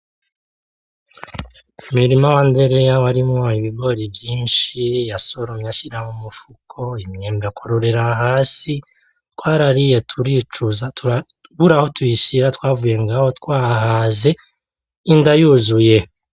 Umirima wa Ndereya warimwo ibigori vyinshi yasoromye ashira mumufuko , imyembe akururira Hasi , twarariye turicuza ,turabura aho tuyishira twavuye ngaho twahaze inda yuzuye .